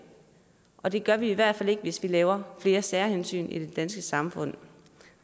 og det gør vi i hvert fald ikke hvis vi laver flere særhensyn i det danske samfund